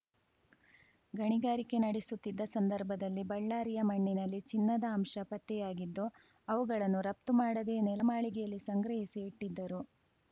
ಗಣಿಗಾರಿಕೆ ನಡೆಸುತ್ತಿದ್ದ ಸಂದರ್ಭದಲ್ಲಿ ಬಳ್ಳಾರಿಯ ಮಣ್ಣಿನಲ್ಲಿ ಚಿನ್ನದ ಅಂಶ ಪತ್ತೆಯಾಗಿದ್ದು ಅವುಗಳನ್ನು ರಪ್ತು ಮಾಡದೇ ನೆಲ ಮಾಳಿಗೆಯಲ್ಲಿ ಸಂಗ್ರಹಿಸಿ ಇಟ್ಟಿದ್ದರು